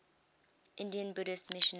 indian buddhist missionaries